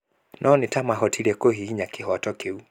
No nĩ ta mataahotire kũhihinya kĩhoto kĩu.